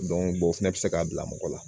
o fɛnɛ bɛ se k'a bila mɔgɔ la